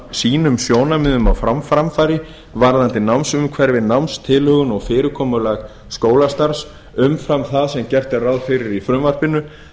sínum á framfæri varðandi námsumhverfi námstilhögun og fyrirkomulag skólastarfs umfram það sem gert er ráð fyrir í frumvarpinu